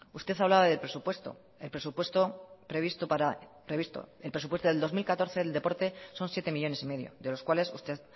usted hablaba de presupuesto el presupuesto del dos mil catorce del deporte son siete coma cinco millónes de los cuales usted